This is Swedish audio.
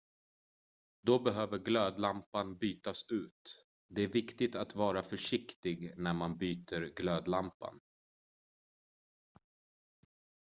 då behöver glödlampan bytas ut det är viktigt att vara försiktig när man byter glödlampan